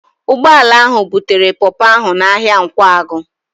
Ụgbọala ahụ butere pọpọ ahụ n'ahịa Nkwagụ